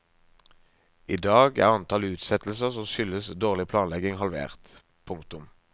I dag er antall utsettelser som skyldes dårlig planlegging halvert. punktum